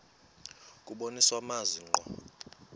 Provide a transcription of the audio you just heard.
kubonisa amazwi ngqo